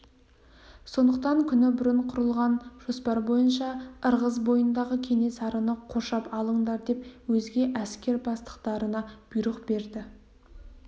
сондықтан күні бұрын құрылған жоспар бойынша ырғыз бойындағы кенесарыны қоршап алыңдар деп өзге әскер бастықтарына бұйрық берді